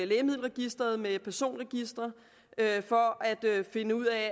lægemiddelregisteret med personregistre for at finde ud af